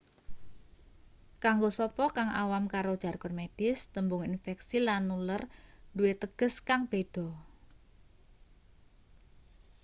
kanggo sapa kang awam karo jargon medis tembung infeksi lan nular duwe teges kang beda